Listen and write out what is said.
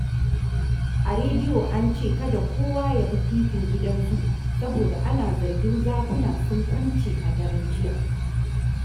A rediyo an ce kada kowa ya bi titin Gidan Zu, saboda ana zargin zakuna sun kwance a daren jiya